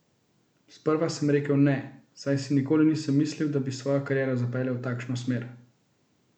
Sprva sem rekel: 'Ne', saj si nikoli nisem mislil, da bi svojo kariero zapeljal v takšno smer.